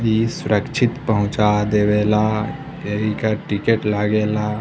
इ सुरक्षित पहुँचा देवेला एही के टिकट लागेला।